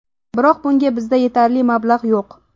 Biroq bunga bizda yetarli mablag‘ yo‘q.